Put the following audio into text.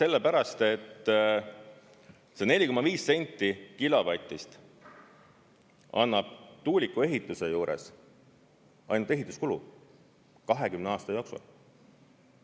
Sellepärast, et see 4,5 senti kilovatist annab tuuliku ehituse juures ainult ehituskulu 20 aasta jooksul.